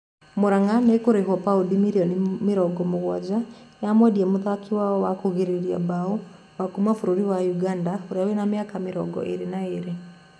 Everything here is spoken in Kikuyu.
Mũranga nĩkurĩhwo paundi mirioni mĩrongo mugwaja yamwendia muthaki wao wa kũrigĩriria mbao wa kuuma bũrũri wa Ũganda urĩa wina miaka mĩrongo ĩrĩ na ĩrĩ.